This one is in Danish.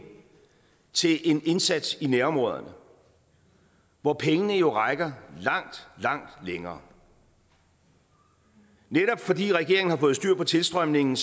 til en indsats i nærområderne hvor pengene jo rækker langt langt længere netop fordi regeringen har fået styr på tilstrømningen